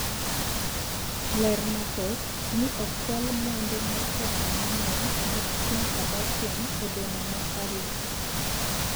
ler mathoth ni okwal mwandu mar pesa mangeny mag Kim Kardashian e boma ma Paris